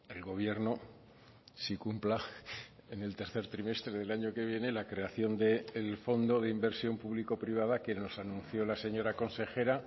el gobierno sí cumpla en el tercer trimestre del año que viene la creación del fondo de inversión público privada que nos anunció la señora consejera